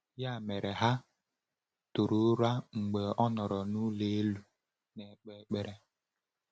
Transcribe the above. Ya mere, ha tụrụ ụra mgbe ọ nọrọ n’ụlọ elu na-ekpe ekpere.